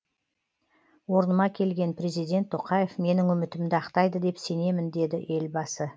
орныма келген президент тоқаев менің үмітімді ақтайды деп сенемін деді елбасы